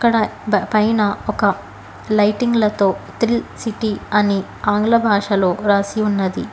ఇక్కడ పైన ఒక లైటింగ్ లతో థ్రిల్ సిటి అని ఆంగ్ల భాషాలో రాసి ఉన్నది.